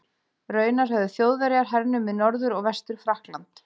Raunar höfðu Þjóðverjar hernumið Norður- og Vestur-Frakkland.